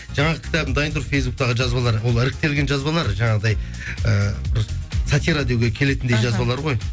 жаңағы кітабым дайын тұр фейсбуктағы жазбалар ол іріктелген жазбалар жаңағыдай і бір сатира деуге келетіндей жазбалар ғой